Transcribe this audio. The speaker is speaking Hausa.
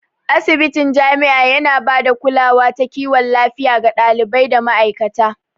Asibitin jami'a yana ba da bada kulawa ta kiwon lafiya ga ɗalibai da ma'aikata.